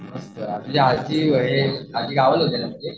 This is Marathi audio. मस्त तुझी आज्जी